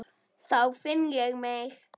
Þá finn ég mig.